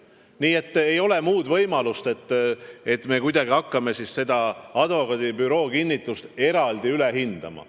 Nii et ei ole võimalust, et me kuidagi hakkame seda advokaadibüroo kinnitust eraldi üle hindama.